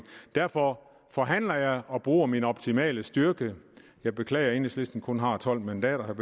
derfor forhandler jeg og bruger min optimale styrke jeg beklager at enhedslisten kun har tolv mandater vil